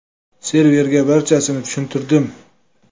Serverga barchasini tushuntirdim.